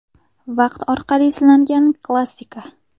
Vaqt orqali sinalgan klassika.